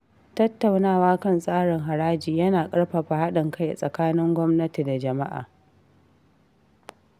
Tattaunawa kan tsarin haraji yana ƙarfafa haɗin kai tsakanin gwamnati da jama’a.